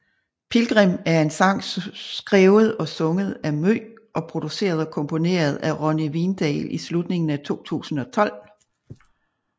Pilgrim er en sang skrevet og sunget af Mø og produceret og komponeret af Ronni Vindahl i slutningen af 2012